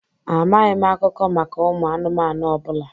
Amaghị m akụkọ maka ụmụ anụmanụ ọ bụla.